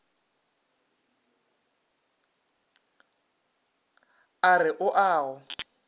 a re o a go